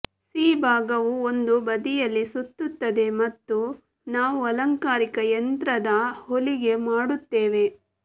C ಭಾಗವು ಒಂದು ಬದಿಯಲ್ಲಿ ಸುತ್ತುತ್ತದೆ ಮತ್ತು ನಾವು ಅಲಂಕಾರಿಕ ಯಂತ್ರದ ಹೊಲಿಗೆ ಮಾಡುತ್ತೇವೆ